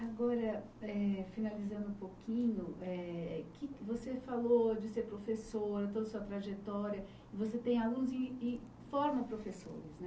Agora, eh finalizando um pouquinho, eh você falou de ser professora, toda sua trajetória, você tem alunos e e forma professores